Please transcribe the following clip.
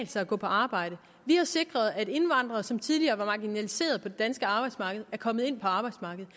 sig at gå på arbejde vi har sikret at indvandrere som tidligere var marginaliseret på det danske arbejdsmarked er kommet ind på arbejdsmarkedet